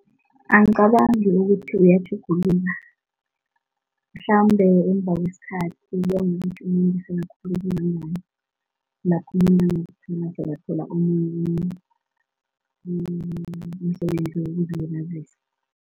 Angicabangi ukuthi iyatjhuguluka mhlambe emva kwesikhathi, kuya ngokuthi umuntu sele akhule kangangani, lapho umuntu angazithola sekathola omunye umuntu, umsebenzi wokuzilibazisa.